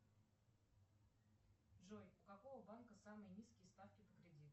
джой у какого банка самые низкие ставки по кредиту